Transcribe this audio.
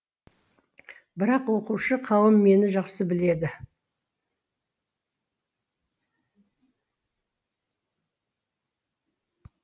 бірақ оқушы қауым мені жақсы біледі